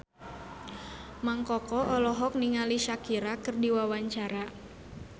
Mang Koko olohok ningali Shakira keur diwawancara